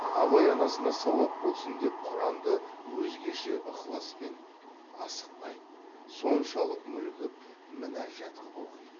абай анасына сауап болсын деп құранды өзгеше ықласпен асықпай соншалық мүлгіп мінажат қып оқиды